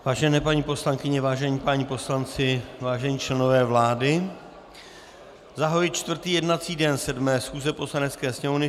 Vážené paní poslankyně, vážení páni poslanci, vážení členové vlády, zahajuji čtvrtý jednací den 7. schůze Poslanecké sněmovny.